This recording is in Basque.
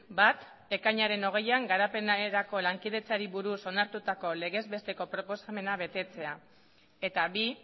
bat ekainaren hogeian garapenerako lankidetzari buruz onartutako legez besteko proposamena betetzea eta bi